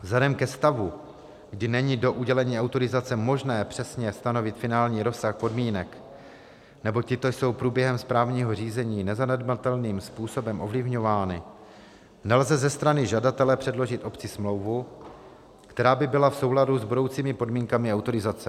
Vzhledem ke stavu, kdy není do udělení autorizace možné přesně stanovit finální rozsah podmínek, neboť tyto jsou průběhem správního řízení nezanedbatelným způsobem ovlivňovány, nelze ze strany žadatele předložit obci smlouvu, která by byla v souladu s budoucími podmínkami autorizace.